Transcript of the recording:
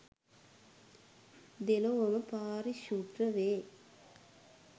දෙලොවම පාරිශුද්ධ වේ.